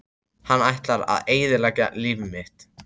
Hann ætlar að eyðileggja líf mitt!